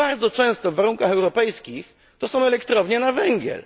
Bardzo często w warunkach europejskich to są elektrownie na węgiel.